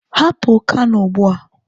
Hapụ Kano ugbu a!